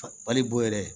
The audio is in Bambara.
Balibo yɛrɛ